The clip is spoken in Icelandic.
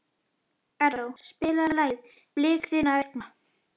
Erró, spilaðu lagið „Blik þinna augna“.